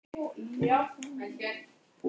Ég er einungis það sem ég hugsa.